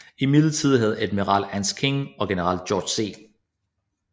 Imidlertid havde admiral Ernest King og general George C